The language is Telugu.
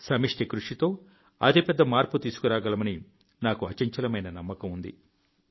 సమష్టి కృషితో అతిపెద్ద మార్పు తీసుకురాగలమని నాకు అచంచలమైన నమ్మకం ఉంది